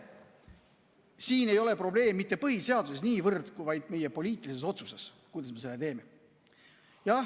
Siin ei ole probleem mitte niivõrd põhiseaduses, kuivõrd selles, kuidas meie selle poliitilise otsuse teeme.